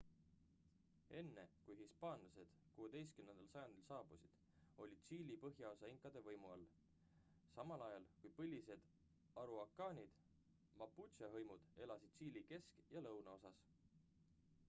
enne kui hispaanlased 16. sajandil saabusid oli tšiili põhjaosa inkade võimu all samal ajal kui põlised araukaanid mapuche hõimud elasid tšiili kesk- ja lõunaosas